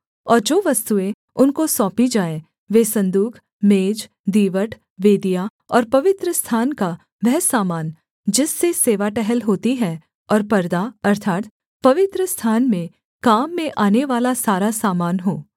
और जो वस्तुएँ उनको सौंपी जाएँ वे सन्दूक मेज दीवट वेदियाँ और पवित्रस्थान का वह सामान जिससे सेवा टहल होती है और परदा अर्थात् पवित्रस्थान में काम में आनेवाला सारा सामान हो